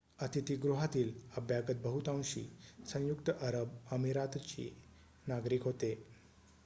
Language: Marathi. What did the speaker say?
अतिथी गृहातील अभ्यागत बहुतांशी संयुक्त अरब अमिरातीचे नागरिक होते